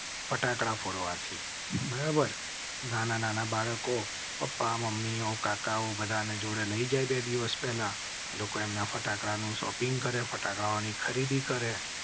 ફટાકડા ફોડવા થી બરાબર નાના નાના બાળકો પપ્પા મમ્મીઓ કાકાઓ બધા ને જોડે લઇ જાય. બે દિવસ પહેલા લોકોએ ફટાકડા નું શોપિંગ કરેં. ફટાકડા ની ખરીદી કરેં